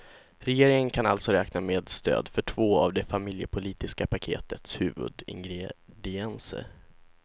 Regeringen kan alltså räkna med stöd för två av det familjepolitiska paketets huvudingredienser.